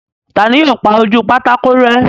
Ta ni yóò pa ojú pátákó rẹ́?